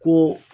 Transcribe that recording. Ko